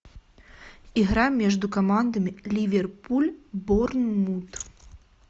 игра между командами ливерпуль борнмут